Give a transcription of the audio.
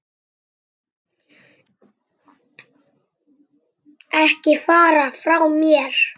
Ekki fara frá mér!